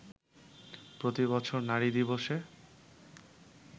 প্রতিবছর নারী দিবসে